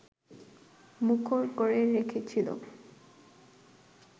মুখর করে রেখেছিল